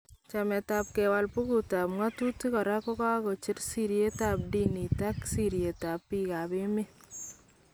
Chamet ab kewal bukut ab ng'atutik koraa kokacheer sirityeet ab diniit ak sirityeet ab biik ab emeet